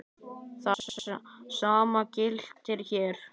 Það sama gildir hér.